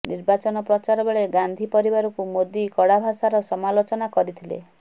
ନିର୍ବାଚନ ପ୍ରଚାର ବେଳେ ଗାନ୍ଧୀ ପରିବାରକୁ ମୋଦି କଡ଼ା ଭାଷାର ସମାଲୋଚନା କରିଥିଲେ